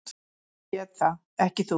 Ég get það, ekki þú.